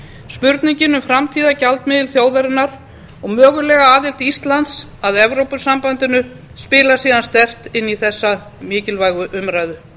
spurningin um framtíðargjaldmiðil þjóðarinnar og mögulega aðild íslands að evrópusambandinu spilar síðan sterkt inn í þessa mikilvægu umræðu